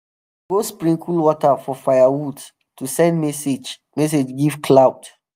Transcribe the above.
dem go sprinkle water for firewood to send message message give cloud.